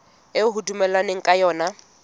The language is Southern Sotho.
eo ho dumellanweng ka yona